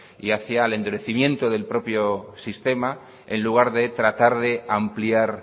y hacia el endurecimiento del propio sistema en lugar de tratar de ampliar